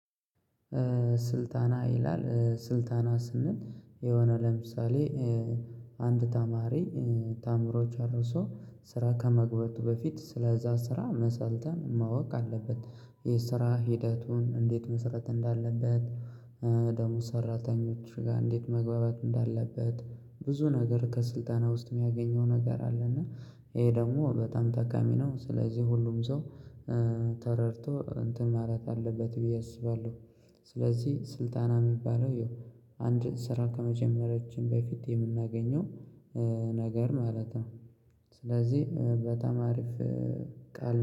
ስልጣና ይላል ስልጣና ስንል የሆነ ለምሳሌ አንድ ተማሪ ተአምሮች ጨርሶ ስራ ከመግባቱ በፊት ስለዛ ስራ መሰልጠን ማወቅ አለበት የስራ ሂደቱን እንዴት መሰራት እንዳለበት ደሞዝ ሰራተኞች ጋር እንዴት መግባባት እንዳለበት ብዙ ነገር ከስልጠና ውስጥ የሚያገኘው ነገር አለና ይሄ ደግሞ በጣም ጠቃሚ ነው ስለዚህ ሁሉም ሰው ተረድቶ እንትን ማለት አለበት ብዬ አስባለሁ። ስለዚህ ስልጣና የሚባለው ያው አንድ ስራ ከመጀመሪያችን በፊት የምናገኘው ነገር ማለት ነው። ስለዚህ በጣም አሪፍ ቃል